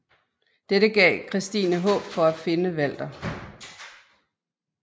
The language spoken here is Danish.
Dette gav Christine håb for at finde Walter